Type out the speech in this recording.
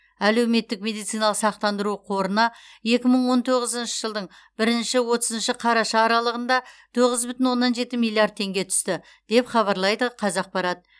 әлеуметтік медициналық сақтандыру қорына екі мың он тоғызыншы жылдың бірінші отызыншы қараша аралығында тоғыз бүтін оннан жеті миллиард теңге түсті деп хабарлайды қазақпарат